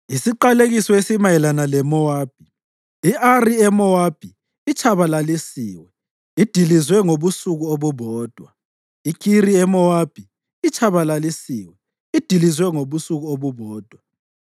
Isiqalekiso esimayelana leMowabi: I-Ari eMowabi itshabalalisiwe, idilizwe ngobusuku obubodwa. IKhiri eMowabi itshabalalisiwe; idilizwe ngobusuku obubodwa.